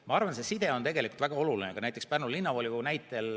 Ma arvan, et see side on tegelikult väga oluline.